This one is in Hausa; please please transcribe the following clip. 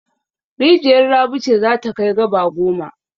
Rijiyar Rabi ce za ta kai gaba goma.